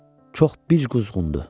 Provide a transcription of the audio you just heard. Çox bic quzğundur.